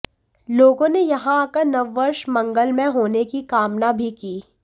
लोगों ने यहां आकर नववर्ष मंगलमय होने की कामना भी की